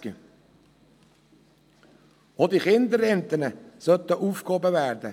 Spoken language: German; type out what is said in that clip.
Auch die Kinderrenten sollten aufgehoben werden.